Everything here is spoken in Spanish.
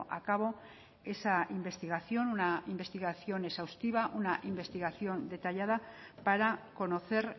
a cabo esa investigación una investigación exhaustiva una investigación detallada para conocer